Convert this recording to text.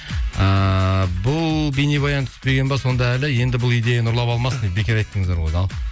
ыыы бұл бейнебаян түспеген бе сонда әлі енді бұл идеяны ұрлап алмасын бекер айттыңыздар ғой дейді ал